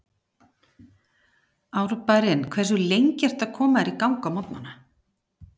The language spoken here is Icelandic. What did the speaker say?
Árbærinn Hversu lengi ertu að koma þér í gang á morgnanna?